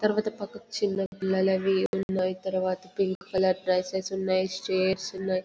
తర్వాత పక్కకి చిన్నపిల్లలవి ఉన్నాయి. తర్వాత పింక్ కలర్ డ్రెస్సెస్ ఉన్నాయి. చైర్స్ ఉన్నాయి.